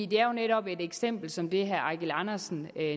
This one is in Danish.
det er jo netop et eksempel som det herre eigil andersen